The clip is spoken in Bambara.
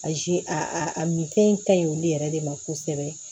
Azi a minfɛn kaɲi olu yɛrɛ de ma kosɛbɛ